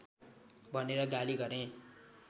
भनेर गाली गरे